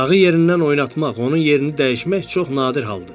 Dağı yerindən oynatmaq, onun yerini dəyişmək çox nadir haldır.